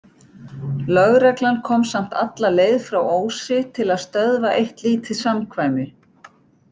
Lögreglan kom samt alla leið frá Ósi til að stöðva eitt lítið samkvæmi.